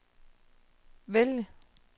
vælg